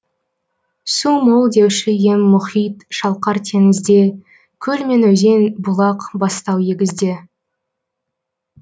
су мол деуші ем мұхит шалқар теңізде көл мен өзен бұлақ бастау егізде